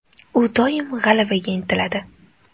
U doim g‘alabaga intiladi.